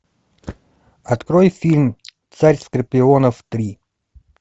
открой фильм царь скорпионов три